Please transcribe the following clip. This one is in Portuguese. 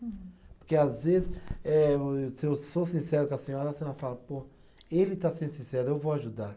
Porque, às vezes, eh se eu sou sincero com a senhora, a senhora fala, pô, ele está sendo sincero, eu vou ajudar.